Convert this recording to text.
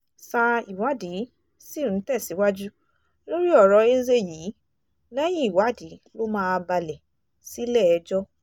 sa ìwádìí sì ń tẹ̀síwájú lórí ọ̀rọ̀ eze yìí lẹ́yìn ìwádìí ló máa balẹ̀ sílẹ̀-ẹjọ́